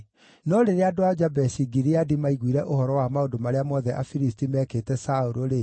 No rĩrĩa andũ a Jabeshi-Gileadi maaiguire ũhoro wa maũndũ marĩa mothe Afilisti meekĩte Saũlũ-rĩ,